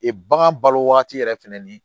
Ee bagan balo wagati yɛrɛ fɛnɛ ni